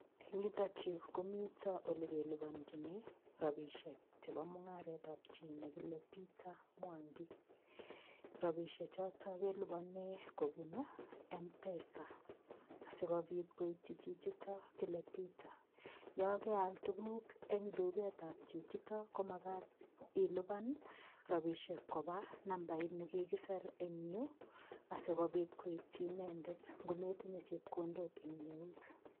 Eng' yutokyu komito ole keliponjini robishek chebo mung'aretab chi nekile Peter Mwangi robishe choto kelipane kobun mpesa sikobit koityi chichito kile Peter yo keal tukuk eng' duketab chichito komakat ilipan robishek koba nambait ni kikiser eng' yu asikobit koityi inendet ngometinye chepkondok eng' eut